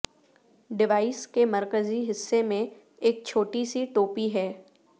device کے مرکزی حصے میں ایک چھوٹی سی ٹوپی ہے